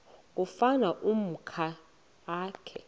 kufuna umakhi akhe